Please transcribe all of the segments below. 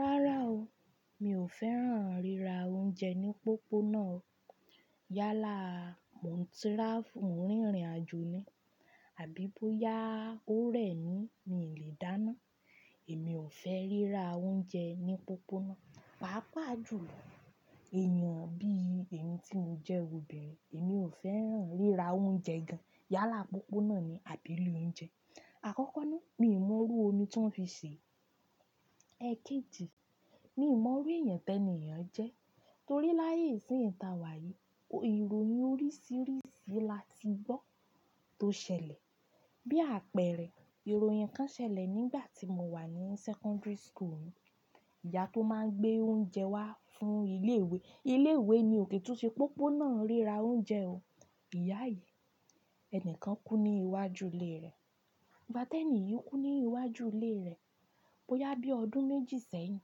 Rárá o, mi ò fẹ́ràn ríra oúnjẹ ní pópónà. Yálà, mò ń tíráfù, mò ń rìnrìnàjò ni. Àbí bóyá ó rẹ̀ mí, mi lè dáná. Èmi ò fẹ́ ríra oúnjẹ ní pópónà. Páápàá jù, èyàn bí i èmi tí mo jẹ́ òbirin, èmi ò fẹ́ràn ríra oúnjẹ gan. Yálà pópónà ni àbí ilé oúnjẹ. Àkọ́kọ́ ná, mi ò mọrú omi tí wọ́n fi sèé. Èkejì, mi ò mọrú èèyàn tẹni yẹn ajẹ́. Torí láyé ìsín tawà yìí, ìròyìn oríṣìíríṣìí la ti gbọ́ tó ṣẹlẹ̀. Bí àpẹẹrẹ ìròyìn kan ṣẹlẹ̀ nígbà tí mo wà ní secondary school. Ìyá tó máa ń gbé oúnjẹ wá fún ilé ìwé. Ilé ìwé ni o kè tún ṣe pópónà ríra oúnjẹ o. Ìyá yìí, ẹni kan kú ní iwájú ilé rẹ̀. Ìgbà tẹ ni yìí, kú ní iwájú ilé rẹ̀. Bóyá bí ọdún méjì sẹ́yìn,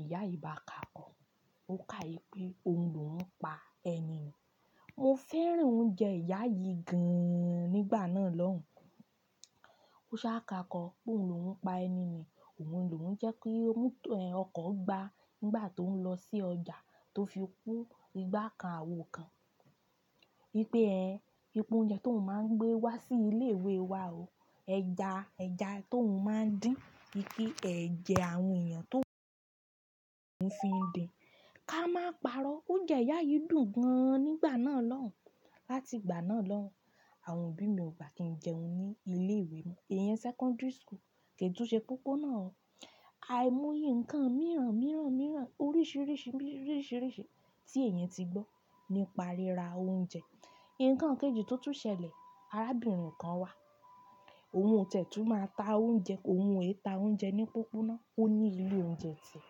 ìyá yìí bá ka, ó ka pé òun lò oun pa ẹni ni. Mo fẹ́ràn oúnjẹ ìyá yìí gan-an nígbà náà lọ́hùn. Ó sá ka kọ pé òun lò ń pa ẹni ni. Òun lò ń jẹ́ kí ọkọ̀ gba nígbà tó ń lọ sí ọjà tó fi kú. Ìgbà kan àwò kan. Wípé ẹ, wípé oúnjẹ tó ń máa ń gbé wá sí ilé ìwé wa o. Ẹja, ẹ̀ja tó ń máa ń dín wípé ẹ̀jẹ̀ àwọn èèyàn tó ń fi din. Ka máa pa'rọ́, oúnjẹ ìyá yìí dùn gan-an nígbà náà lọ́hùn. Láti ìgbà náà lọ́hùn, àwọn òbí mi ò bá kí n jẹun ní ilé ìwé mọ. Ìyẹn secondary school, kè tún ṣe pópónà o. Aì moye nǹkan mìíràn, mìíràn, mìíràn, oríṣìíríṣìí, mìíríṣìíríṣìí tí ẹ̀yan ti gbọ́ nípa ríra oúnjẹ. Ìnǹkan kejì tó tún ṣẹlẹ̀, arábìnrin kan wà. Òun oti ẹ̀ tún máa ta oúnjẹ. Òun ò è ta oúnjẹ ní pópónà. Ó ní ilé oúnjẹ tì ẹ.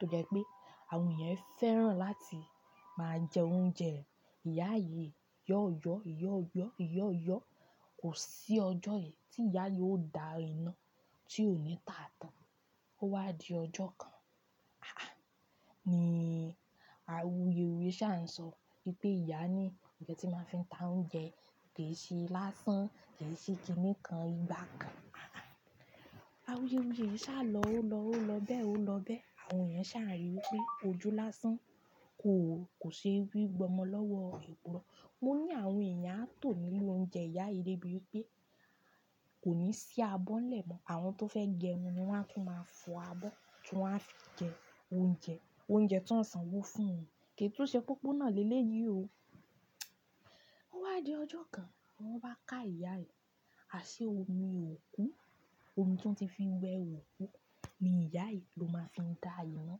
Tó jẹ́ pé àwọn èèyàn fẹ́ràn láti máa jẹ oúnjẹ rẹ̀. Ìyá yìí ìyá-ọ́yọ́, ìyá-ọ́yọ́, ìyá-ọ́yọ́. Kò sí ọjọ́ yìí tí ìyá yìí ó dá iná tí ò ní tà tán. Ó wá di ọjọ́ kan. Ah! Ni awuyewuye sà ń sọ wípé ìyá ni ǹkan ti máa fi ń ta oúnjẹ kè ṣe lásán, kè ṣe kíni kan ìgbà kan. Ah! Awuyewuye yí sá lọ, ó lọ, ó lọ bẹ́ẹ̀, ó lọ bẹ́ẹ̀. Àwọn èèyàn sá ń rí pé ojú lásán kò, kò ṣe fí gba ọmọ lọ́wọ́ epo rọ. Mo ní àwọn èèyàn á tò nílé oúnjẹ ìyá yìí dé bíi pé kò ní sí abọ́ n lẹ́mọ̀. Àwọn tó fẹ́ jẹun ni wọ́n á tún máa fọ abọ́ tí wọ́n á fi jẹ oúnjẹ. Oúnjẹ tí wọ́n ó sanwó fún wọn o. Kì í tún ṣe pópónà le le yì o. Ó wá di ọjọ́ kan, wọ́n wá ká ìyá yìí. Aṣẹ omi òkú, omi tí wọ́n ti fi wẹ òkú ni ìyá yìí ló máa fi ń dá iná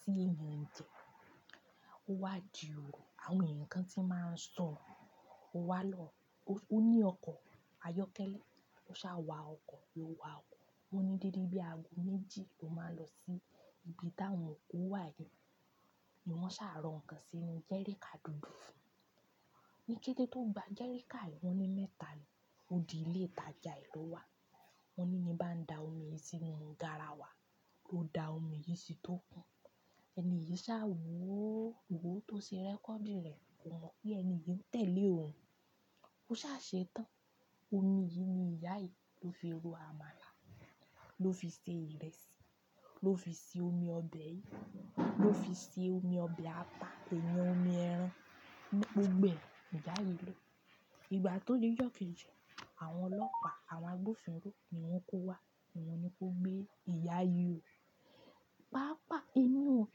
tí èèyàn ń jẹ. Ó wá di òru àwọn eyan kan tí màá ń sọ. Ó wá lọ. Ó ní ọkọ̀ ayọ́kẹ́lẹ́, ó sá wa ọkọ̀, ló wa ọkọ̀. Wọ́n ní dédé bí aago méjì ló máa ń lọ sí ibi táwọn òkú wà yìí. Ni wọ́n sá rọ́ ǹkan sí inú jẹ́ríkà dúdú. Ni kété tó gba jẹ́ríkà yìí, wọ́n ní mẹ́ta ni. Ó di ilé ìtajà ẹ ló wà. Wọ́n ní ní bá ń da omi yìí sínú garawa, ló da omi yìí sí tó kún. Ẹni yìí sá wòó, wòó tó ṣe rẹ́kọ̀dì rẹ̀. Kò mọ̀ pé ẹni yìí ń tẹ̀lé òun. Ó sá ṣe tán. Omi yìí ni ìyá yìí ló fi ro àmàlà, ló fi ṣe ìrẹsì, ló fi ṣe omi ọbẹ̀ yìí, ló fi ṣe omi ọbẹ̀ atà, èèyàn omi ẹran. Gbogbo ẹ ni ìyá yìí lò. Ìgbà tó di ọjọ́ kejì, àwọn ọlọ́pàá, àwọn agbófinró ni wọ́n kó wá. Wọ́n ni kó gbé ìyá yìí. Páápàá, èmi ò--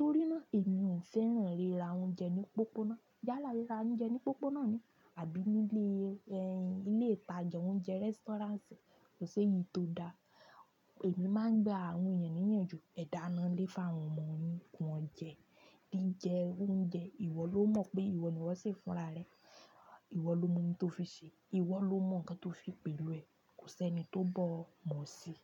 torí náà èmi ò fẹ́ràn ríra oúnjẹ ní pópónà. Yálà ríra oúnjẹ ní pópónà ni. Àbí nílé, ẹ́, ilé ìtajà oúnjẹ, rẹ́sítọ́ráǹsì, kò ṣe èyí tó da. Èmi máa ń gba àwọn èèyàn ní ìyanjú. Ẹ dáná nlé fa'wọn ọmọ yín kí wọ́n jẹ. Bí jẹ oúnjẹ, ìwọ ló mọ̀ pé ìwọ ni wọ́ ṣe fúnra rẹ. Ìwọ ló mọ̀ ohun tí ó fi ṣe. Ìwọ ló mọ̀ ǹkan tí ó fi pẹ̀lú ẹ. Kò ṣe ẹni tó bọ̀ mọ̀ sí i.